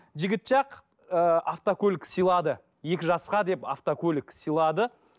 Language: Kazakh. жігіт жақ ыыы автокөлік сыйлады екі жасқа деп автокөлік сыйлады